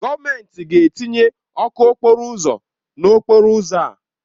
Gọọmentị ga-etinye ọkụ n'okporo ụzọ n'okporo ụzọ a.